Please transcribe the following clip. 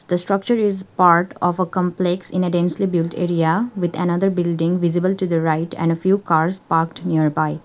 the structure is part of a complex in a densely built area with another building visible to the right and a few cars parked nearby.